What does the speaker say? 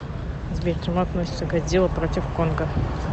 сбер к чему относится годзилла против конга